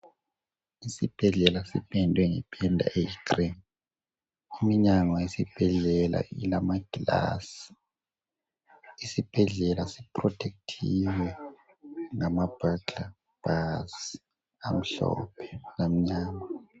Isibhedlela sipendwe ngependa eyi cream. Iminyango yesibhedlela ilamaglass. Isibhedlela si protect(thiwe) ngama burglar bars amhlophe lamnyama.